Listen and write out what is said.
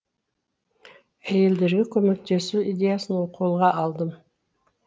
әйелдерге көмектесу идеясын қолға алдым